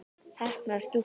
Heppnar stúlkur?